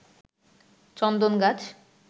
চন্দন গাছ